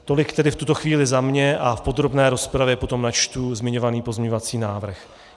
Tolik tedy v tuto chvíli za mě a v podrobné rozpravě potom načtu zmiňovaný pozměňovací návrh.